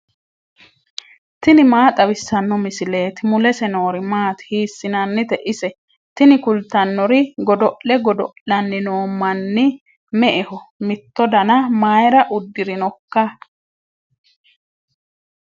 tini maa xawissanno misileeti ? mulese noori maati ? hiissinannite ise ? tini kultannori godo'le godo'lanni noo manni me'eho mitto dana mayara uddirinoika